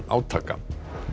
átaka